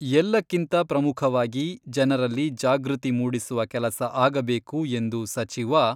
ಎಲ್ಲಕ್ಕಿಂತ ಪ್ರಮುಖವಾಗಿ ಜನರಲ್ಲಿ ಜಾಗೃತಿ ಮೂಡಿಸುವ ಕೆಲಸ ಆಗಬೇಕು ಎಂದು ಸಚಿವ